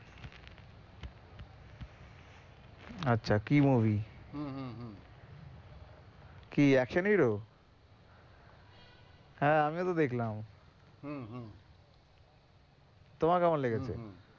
আচ্ছা কী movie হম হম হম কি action hero হ্যাঁ আমিও তো দেখলাম হম হম তোমার কেমন লেগেছে?